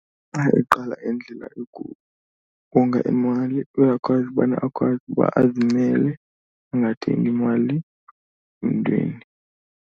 Xa eqala indlela yokukonga imali uyakwazi ubana akwazi uba azimele angathengi mali mntwini.